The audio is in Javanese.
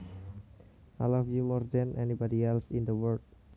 I love you more than anybody else in the world